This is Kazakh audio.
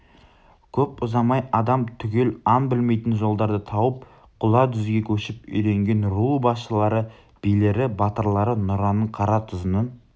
көп ұзамай адам түгел аң білмейтін жолдарды тауып құла дүзге көшіп үйренген ру басшылары билері батырлары нұраның қаратұзының